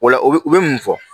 Ola o bɛ u bɛ mun fɔ